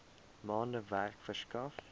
maande werk verskaf